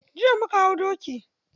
Jiya mu ka hau doki.